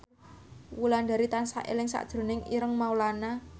Wulandari tansah eling sakjroning Ireng Maulana